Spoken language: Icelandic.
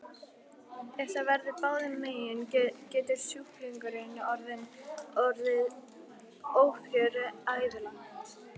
Ef það verður báðum megin getur sjúklingurinn orðið ófrjór ævilangt.